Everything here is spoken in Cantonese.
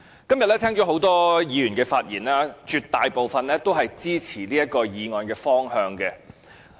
今天聽到很多議員的發言，絕大部分都是支持這項議案的方向。